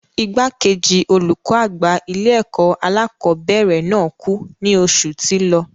Igbàkejì olùkó àgbà ilé-ẹ̀kọ́ alákọ̀ọ́bẹ̀rẹ̀ náà kú ní oṣù tí lọ.